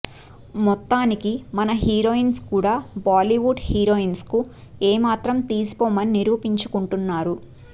మొత్తానికి మన హీరోయిన్స్ కూడా బాలీవుడ్ హీరోయిన్స్ కు ఏ మాత్రం తీసిపోమని నిరూపించుకుంటున్నారు